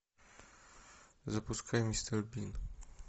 запускай мистер бин